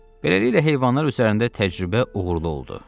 Beləliklə heyvanlar üzərində təcrübə uğurlu oldu.